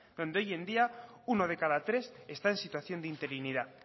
donde hoy en día uno de cada tres está en situación de interinidad